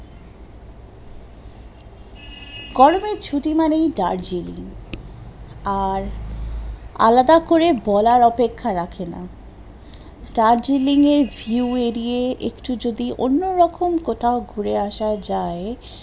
গরমের ছুটি মানেই দার্জেলিং, আর আলাদা করে বলার অপেক্ষা রাখে না, দার্জিলিং এর view এড়িয়ে একটু যদি অন্য রকম কোথাও ঘুরে আসা যায়